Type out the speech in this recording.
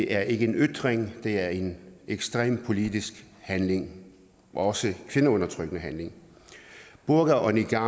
er ikke en ytring det er en ekstrem politisk handling også en kvindeundertrykkende handling burka og niqab